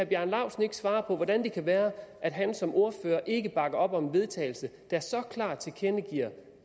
bjarne laustsen ikke svare på hvordan det kan være at han som ordfører ikke bakker op om et vedtagelse der klart tilkendegiver